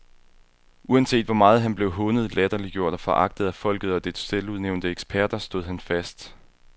Uanset hvor meget han blev hånet, latterliggjort og foragtet af folket og dets selvudnævnte eksperter, stod han fast.